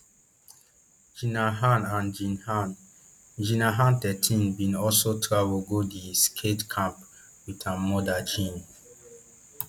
jinna han and jin han jinna han thirteen bin also travel go di skate camp wit her mother jin